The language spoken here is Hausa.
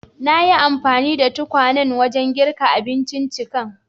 Nayi anfani da tukwanen wajen girka abinciccikan.